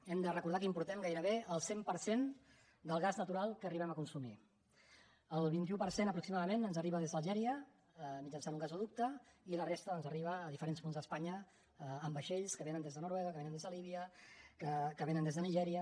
hem de recordar que importem gairebé el cent per cent del gas natural que arribem a consumir el vint un per cent aproximadament ens arriba des d’algèria mitjançant un gasoducte i la resta doncs arriba a diferents punts d’espanya en vaixells que vénen des de noruega que vénen des de líbia que vénen des de nigèria